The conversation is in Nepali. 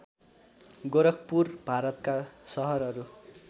गोरखपुर भारतका सहरहरू